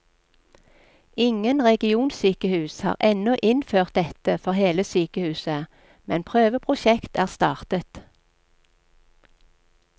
Ingen regionsykehus har ennå innført dette for hele sykehuset, men prøveprosjekt er startet.